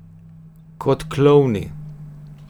Kot klovni.